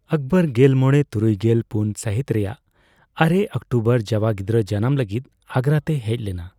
ᱟᱠᱵᱚᱨ ᱜᱮᱞ ᱢᱚᱲᱮ ᱛᱩᱨᱩᱭᱜᱮᱞ ᱯᱩᱱ ᱥᱟᱦᱤᱛ ᱨᱮᱭᱟᱜ ᱟᱨᱮ ᱚᱠᱴᱳᱵᱚᱨ ᱡᱟᱣᱟ ᱜᱤᱫᱽᱨᱟᱹ ᱡᱟᱱᱟᱢ ᱞᱟᱹᱜᱤᱫ ᱟᱜᱨᱟ ᱛᱮᱭ ᱦᱮᱡ ᱞᱮᱱᱟ ᱾